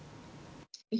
ég